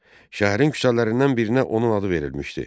Şəhərin küçələrindən birinə onun adı verilmişdi.